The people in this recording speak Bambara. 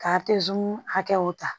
Ka hakɛw ta